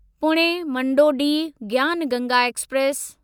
Pune Manduadih Gyan Ganga express